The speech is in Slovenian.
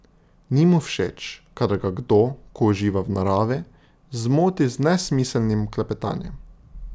Ni mu všeč, kadar ga kdo, ko uživa v naravi, zmoti z nesmiselnim klepetanjem.